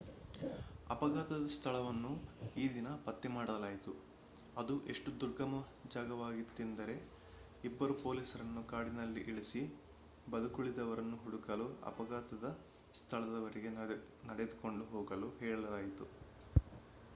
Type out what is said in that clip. ಅಫಘಾತದ ಸ್ಥಳವನ್ನು ಈ ದಿನ ಪತ್ತೆ ಮಾಡಲಾಯಿತು ಅದು ಎಷ್ಟು ದುರ್ಗಮ ಜಾಗವಾಗಿತ್ತೆಂದರೆ ಇಬ್ಬರು ಪೋಲೀಸರನ್ನು ಕಾಡಿನಲ್ಲಿ ಇಳಿಸಿ ಬದುಕುಳಿದವರನ್ನು ಹುಡುಕಲು ಅಪಘಾತದ ಸ್ಥಳದವರೆಗೆ ನಡೆದುಕೊಂಡು ಹೋಗಲು ಹೇಳಲಾಯಿತು